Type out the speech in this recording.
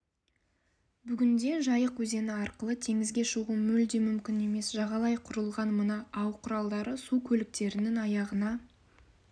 бүгінде жайық өзені арқылы теңізге шығу мүлде мүмкін емес жағалай құрылған мына ау-құралдары су көліктерінің аяғына